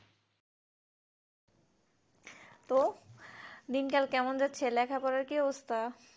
তো দিন কাল কেমন যাচ্ছে লেখা পড়ার কেমন অবস্থ্যা